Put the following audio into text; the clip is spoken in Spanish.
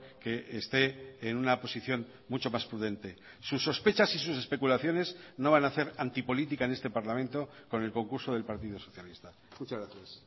que esté en una posición mucho más prudente sus sospechas y sus especulaciones no van a hacer antipolítica en este parlamento con el concurso del partido socialista muchas gracias